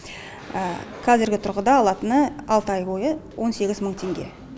қазіргі тұрғыда алатыны алты ай бойы он сегіз мың теңге